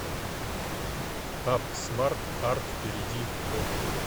апп смарт арт перейди в